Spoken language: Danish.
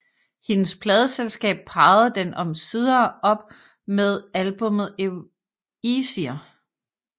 Hendes pladeselskab parrede den omsider op med albummet Easier